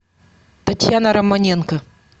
татьяна романенко